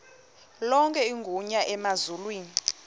lonke igunya emazulwini